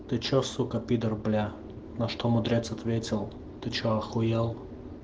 ты что сука пидор бля на что мудрец ответил ты че ахуел